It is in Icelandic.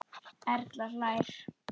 Erla hlær.